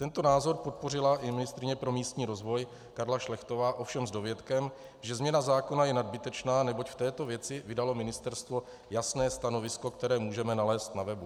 Tento názor podpořila i ministryně pro místní rozvoj Karla Šlechtová, ovšem s dovětkem, že změna zákona je nadbytečná, neboť v této věci vydalo Ministerstvo jasné stanovisko, které můžeme nalézt na webu.